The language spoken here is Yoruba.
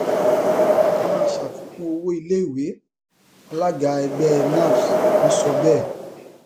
a máa ṣàfikún owó iléiwé alága ẹgbẹ napps ló sọ bẹẹ